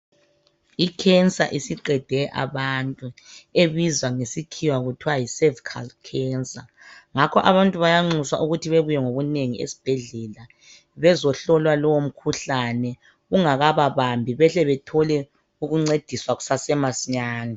I cancer isiqedile abantu ebizwa ngesikhiwa kuthiwa yi cervical cancer ngakho abantu bayanxuswa ukuthi bebuye ngobunengi esibhedlela bezohlola lowu mkhuhlane ungakakabambi ukuze bathole ukuncediswa kusesemasinyane